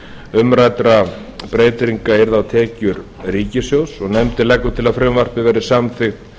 umræddra breytinga yrðu á tekjur ríkissjóðs nefndin leggur til að frumvarpið verði samþykkt